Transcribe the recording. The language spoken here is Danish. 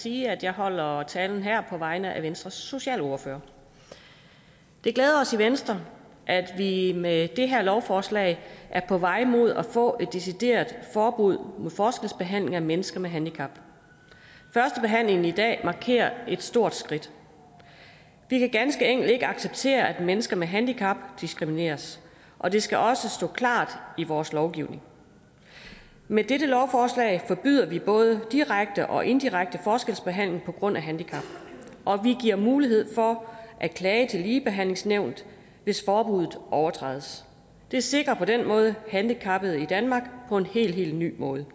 sige at jeg holder talen her på vegne af venstres socialordfører det glæder os i venstre at vi med det her lovforslag er på vej mod at få et decideret forbud mod forskelsbehandling af mennesker med handicap førstebehandlingen i dag markerer et stort skridt vi kan ganske enkelt ikke acceptere at mennesker med handicap diskrimineres og det skal også stå klart i vores lovgivning med dette lovforslag forbyder vi både direkte og indirekte forskelsbehandling på grund af handicap og vi giver mulighed for at klage til ligebehandlingsnævnet hvis forbudet overtrædes det sikrer på den måde handicappede i danmark på en helt helt ny måde